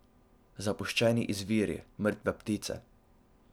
Zapuščeni izviri, mrtve ptice.